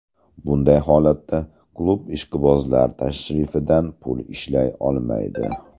Bunday holatda klub ishqibozlar tashrifidan pul ishlay olmaydi.